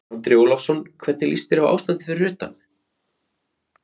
Andri Ólafsson: Hvernig líst þér á ástandið fyrir utan?